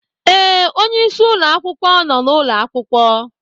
Ee, onyeisi ụlọ akwụkwọ nọ n'ụlọ akwụkwọ.